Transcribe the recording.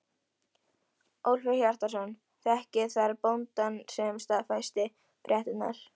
Ólafur Hjaltason þekkti þar bóndann sem staðfesti fréttirnar.